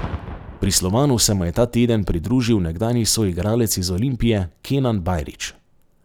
Pri Slovanu se mu je ta teden pridružil nekdanji soigralec iz Olimpije Kenan Bajrić.